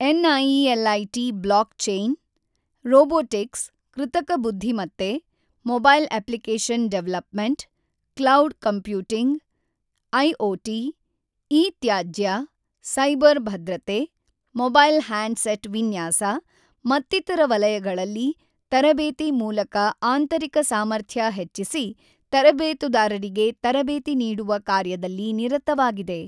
NIELIT blockchain, robotics, ಕೃತಕ ಬುದ್ದಿಮತ್ತೆ, mobile application development, cloud computing, IoT, e ತ್ಯಾಜ್ಯ, cyber ಭದ್ರತೆ, ಮೊಬೈಲ್ ಹ್ಯಾಂಡ್ ಸೆಟ್ ವಿನ್ಯಾಸ ಮತ್ತಿತರ ವಲಯಗಳಲ್ಲಿ ತರಬೇತಿ ಮೂಲಕ ಆಂತರಿಕ ಸಾಮರ್ಥ್ಯ ಹೆಚ್ಚಿಸಿ ತರಬೇತುದಾರರಿಗೆ ತರಬೇತಿ ನೀಡುವ ಕಾರ್ಯದಲ್ಲಿ ನಿರತವಾಗಿದೆ.